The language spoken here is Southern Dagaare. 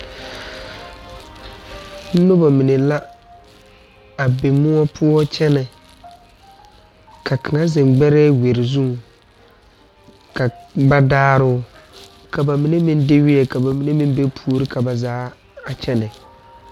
Nobɔ mine la a be moɔ poɔ kyɛnɛ ka kaŋa zeŋ gbɛrɛɛ wiri zu ka ba daa too ka ba mine meŋ de weɛ ka ba mine meŋ be puori ka ba zaa kyɛnɛ.